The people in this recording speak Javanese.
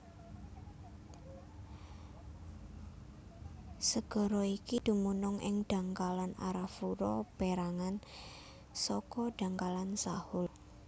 Segara iki dumunung ing dhangkalan Arafura pérangan saka dhangkalan Sahul